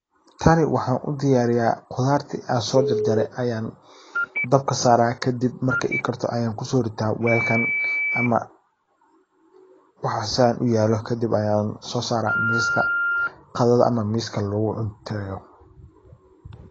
Tani waxan udiyariya qudarti an sojarjare ayan dabka sara, kadib marki ikarto ayan kusorita walkan amawaxa san uyalo kadib ayan sosara miska qadada ama miska lagucunteyo.